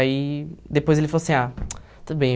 Aí, depois ele falou assim, ah, tudo bem.